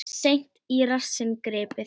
Seint í rassinn gripið.